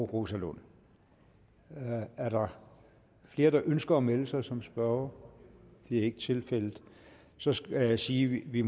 rosa lund er der flere der ønsker at melde sig som spørgere det er ikke tilfældet så skal jeg sige at vi